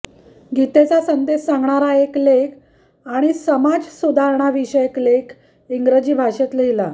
गीतेचा संदेश सांगणारा एक लेख आणि समाज सुधारणांविषयक एक लेख इंग्रजी भाषेत लिहिला